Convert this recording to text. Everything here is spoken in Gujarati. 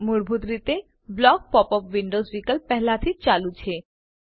મૂળભૂત રીતે બ્લોક પોપ અપ વિન્ડોવ્ઝ વિકલ્પ પહેલાથી જ ચાલુ છે